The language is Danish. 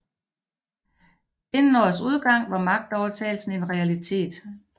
Inden årets udgang var magtovertagelsen en realitet